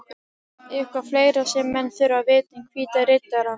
Eitthvað fleira sem menn þurfa að vita um Hvíta Riddarann?